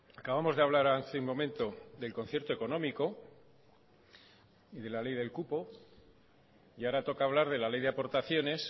acabamos de hablar hace un momento del concierto económico y de la ley del cupo y ahora toca hablar de la ley de aportaciones